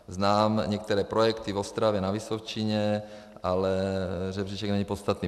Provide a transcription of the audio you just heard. Znám některé projekty v Ostravě, na Vysočině, ale žebříček není podstatný.